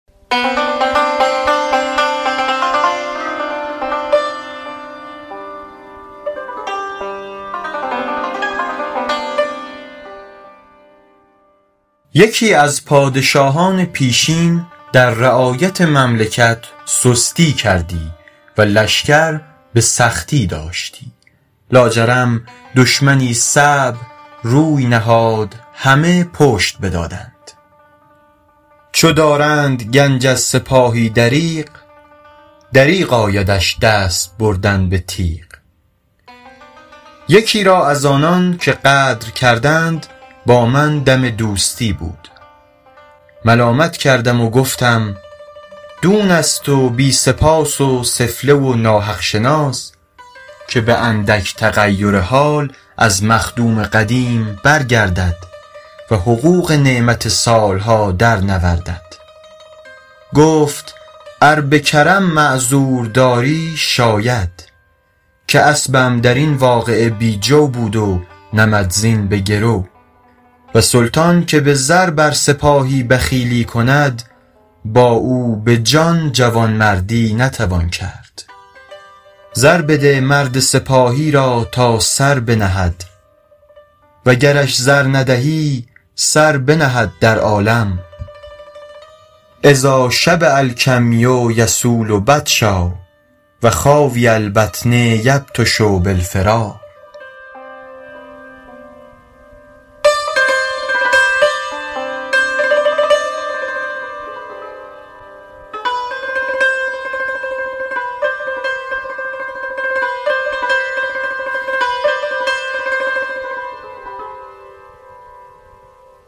یکی از پادشاهان پیشین در رعایت مملکت سستی کردی و لشکر به سختی داشتی لاجرم دشمنی صعب روی نهاد همه پشت بدادند چو دارند گنج از سپاهی دریغ دریغ آیدش دست بردن به تیغ یکی را از آنان که غدر کردند با من دم دوستی بود ملامت کردم و گفتم دون است و بی سپاس و سفله و ناحق شناس که به اندک تغیر حال از مخدوم قدیم برگردد و حقوق نعمت سال ها در نوردد گفت ار به کرم معذور داری شاید که اسبم در این واقعه بی جو بود و نمدزین به گرو و سلطان که به زر بر سپاهی بخیلی کند با او به جان جوانمردی نتوان کرد زر بده مرد سپاهی را تا سر بنهد و گرش زر ندهی سر بنهد در عالم اذا شبع الکمی یصول بطشا و خاوی البطن یبطش بالفرار